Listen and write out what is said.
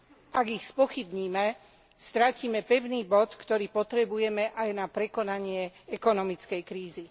Ak ich spochybníme, stratíme pevný bod, ktorý potrebujeme aj na prekonanie ekonomickej krízy.